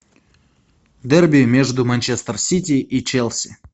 дерби между манчестер сити и челси